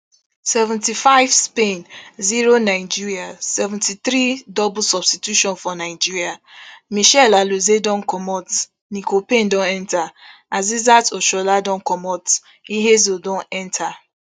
seventy-five spain zero nigeria seventy-three double substitution for nigeria michelle alozie don comot nicole payne don enta asisat oshoala don comot ihezuo don enta